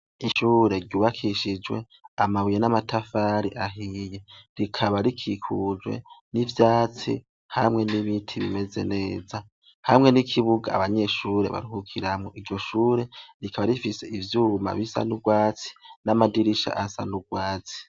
Ishure ryubakishijwe amabuye n'amatafari ahiye rikaba rikikujwe n'ivyatsi hamwe n'ibiti bimeze neza hamwe n'ikibuga abanyeshure baruhukiramwo iryo shure rikaba rifise ivyuma bisa n'urwatsi n'amadirisha asa n'urwatsi.